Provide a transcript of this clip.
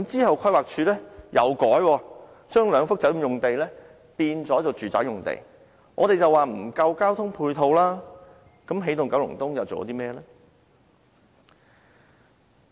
後來規劃署改動，將兩幅酒店用地改為住宅用地，我們指出交通配套不足，起動九龍東又做過甚麼呢？